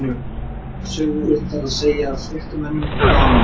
Svipaða sögu er reyndar að segja af fréttamönnum og blaðamönnum.